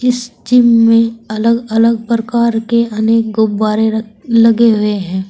इस जिम में अलग अलग प्रकार के अनेक गुब्बारे र लगे हुए हैं।